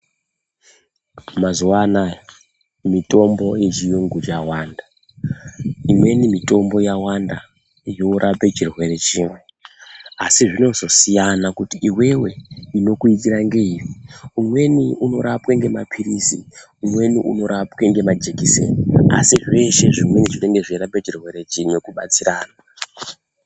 Mazuwa anaya mitombo yechiyungu yawanda, imweni mitombo yawanda yorape chirwere chimwe. Asi zvinozosiyana kuti iwewe inokuitira ngeiri umweni unorapwe ngemaphirizi umweni unorapwe nemajekiseni. Asi zveshe zvimweni zvinenge zveirapa chirwere chimwe kubatsirana.